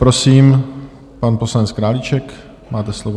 Prosím, pan poslanec Králíček, máte slovo.